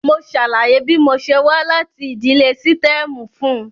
Mo ṣàlàyé bí mo ṣe wá láti ìdílé sítẹ́ẹ̀mù fún un.